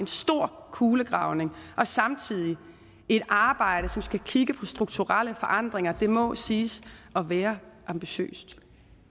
stor kulegravning og samtidig et arbejde som skal kigge på strukturelle forandringer det må siges at være ambitiøst